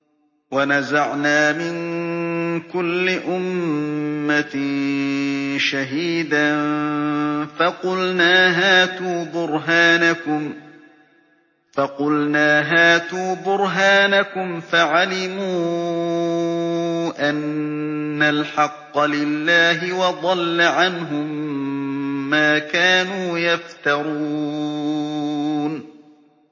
وَنَزَعْنَا مِن كُلِّ أُمَّةٍ شَهِيدًا فَقُلْنَا هَاتُوا بُرْهَانَكُمْ فَعَلِمُوا أَنَّ الْحَقَّ لِلَّهِ وَضَلَّ عَنْهُم مَّا كَانُوا يَفْتَرُونَ